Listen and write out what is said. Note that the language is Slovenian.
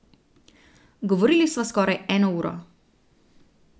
Govorili sva skoraj eno uro.